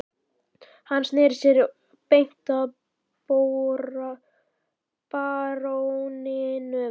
Hann sneri sér beint að baróninum